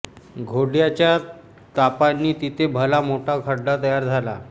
घोड्याच्या टापांनी तिथे भला मोठा खड्डा तयार झाला